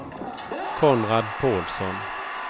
Konrad Pålsson